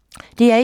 DR1